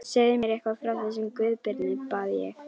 Segðu mér eitthvað frá þessum Guðbirni, bað ég.